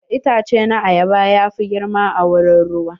Itace na ayaba ya fi girma a wurin ruwa.